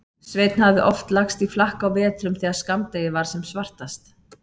Sveinn hafði oft lagst í flakk á vetrum þegar skammdegið var sem svartast.